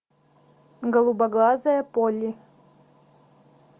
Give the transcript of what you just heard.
голубоглазая полли